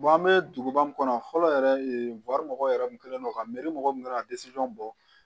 an bɛ duguba kɔnɔ yan fɔlɔ yɛrɛ mɔgɔw yɛrɛ min kɛlen don ka mɔgɔ min kan ka bɔ